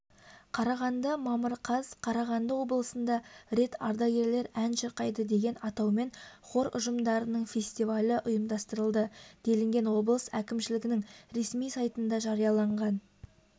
қарағанды мамыр қаз қарағанды облысында рет ардагерлер ән шырқайды деген атаумен хор ұжымдарының фестивалі ұйымдастырылды делінген облыс әкімшілігінің ресми сайтында жарияланған